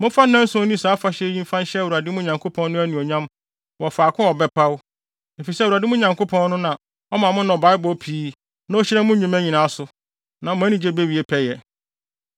Momfa nnanson nni saa afahyɛ yi mfa nhyɛ Awurade, mo Nyankopɔn no, anuonyam wɔ faako a ɔbɛpaw, efisɛ Awurade, mo Nyankopɔn no, na ɔma mo nnɔbae bɔ pii na ohyira mo nnwuma nyinaa so; na mo anigye bewie pɛyɛ.